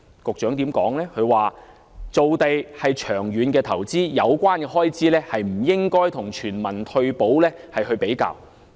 局長當時回應說，造地是長遠的投資，有關開支不應該與全民退保比較。